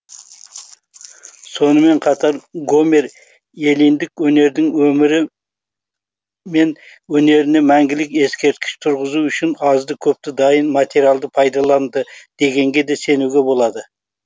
сонымен қатар гомер эллиндік өнердің өмірі мен өнеріне мәңгілік ескерткіш тұрғызу үшін азды көпті дайын материалды пайдаланды дегенге де сенуге болады